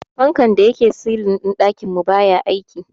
Fankan da yake silin din dakin mu baya aiki.